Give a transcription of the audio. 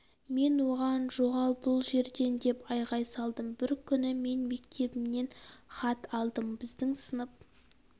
мен оған жоғал бұл жерден деп айғай салдым бір күні мен мектебімнен хат алдым біздің сынып